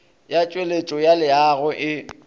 ya tšweletšo ya leago e